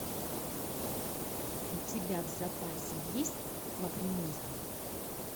у тебя в запасе есть лакримоза